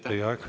Teie aeg!